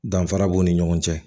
Danfara b'u ni ɲɔgɔn cɛ